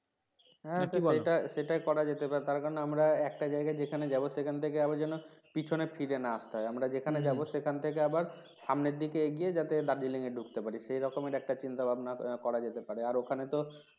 নাকি বোলো হ্যাঁ সেটা করা যেতে পারে তারকারণ আমরা একটা জায়গায় যেখানে যাবো সেখান থেকে আবার যেন পিছনে ফায়ার না আস্তে হয় আমরা যেহানে যাবো হম সেখান থেকে আবার সামনের দিকে এগিয়ে যাতে Darjeeling এ ঢুকতে পারি সেরকমের একটা চিন্তা ভাবনা করা যেতে পারে আর ওখানে তো